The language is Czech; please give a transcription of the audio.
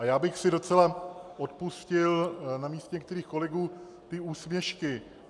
A já bych si docela odpustil na místě některých kolegů ty úsměšky.